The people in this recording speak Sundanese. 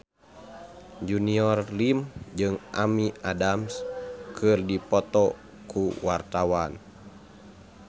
Junior Liem jeung Amy Adams keur dipoto ku wartawan